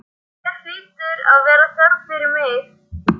Hér hlýtur að vera þörf fyrir mig.